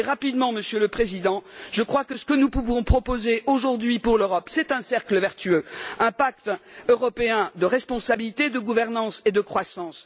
Je crois, Monsieur le Président, que ce que nous pouvons proposer aujourd'hui pour l'Europe, c'est un cercle vertueux, un pacte européen de responsabilité, de gouvernance et de croissance.